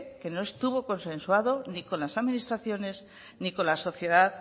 que no estuvo consensuado ni con las administraciones ni con la sociedad